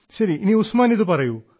ശരി ഉസ്മാൻ ഇതുപറയൂ